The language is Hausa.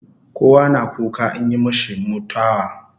Kowa na kuka inyi mishi mutawa